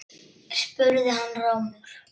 spurði hann rámur.